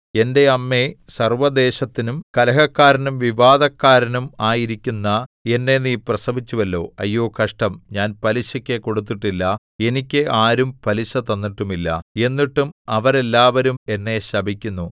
എന്റെ അമ്മേ സർവ്വദേശത്തിനും കലഹക്കാരനും വിവാദക്കാരനും ആയിരിക്കുന്ന എന്നെ നീ പ്രസവിച്ചുവല്ലോ അയ്യോ കഷ്ടം ഞാൻ പലിശയ്ക്കു കൊടുത്തിട്ടില്ല എനിക്ക് ആരും പലിശ തന്നിട്ടുമില്ല എന്നിട്ടും അവരെല്ലാവരും എന്നെ ശപിക്കുന്നു